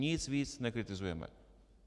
Nic víc nekritizujeme.